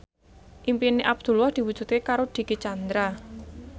impine Abdullah diwujudke karo Dicky Chandra